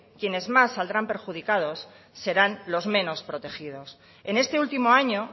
quienes más saldrán perjudicados serán los menos protegidos en este último año